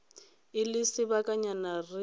e le sebakanyana re sa